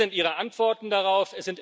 Und wie sind Ihre Antworten darauf?